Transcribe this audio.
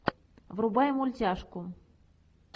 врубай мультяшку